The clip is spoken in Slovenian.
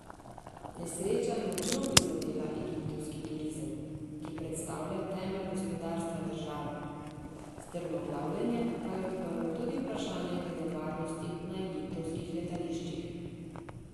Nesreča je močno prizadela egiptovski turizem, ki predstavlja temelj gospodarstva države, strmoglavljenje pa je odprlo tudi vprašanja glede varnosti na egiptovskih letališčih.